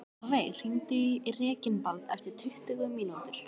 Árveig, hringdu í Reginbald eftir tuttugu mínútur.